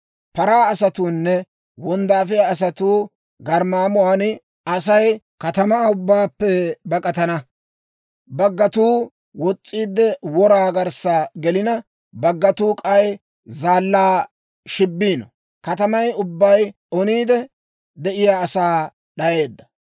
Paraa asatuunne wonddaafiyaa asatuu garmmaamuwan, Asay katamaa ubbaappe bak'atana. Baggatuu wos's'iide wora garssa gelina, baggatuu k'ay zaallaa shibbiino. Katamay ubbay oniide, de'iyaa asaa d'ayeedda.